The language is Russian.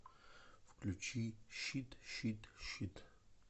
включи щит щит щит